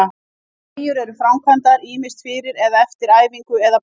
Teygjur eru framkvæmdar ýmist fyrir eða eftir æfingu, eða bæði.